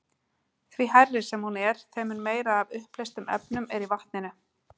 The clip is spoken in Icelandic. Því hærri sem hún er, þeim mun meira er af uppleystum efnum í vatninu.